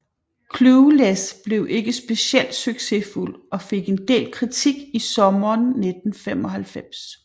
Clueless blev ikke speciel succesfuld og fik en del kritik i sommeren 1995